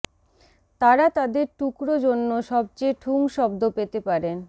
তারা তাদের টুকরো জন্য সবচেয়ে ঠুং শব্দ পেতে পারেন